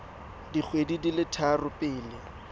dikgwedi di le tharo pele